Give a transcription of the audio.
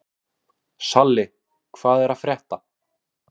Salli, hvað er að frétta?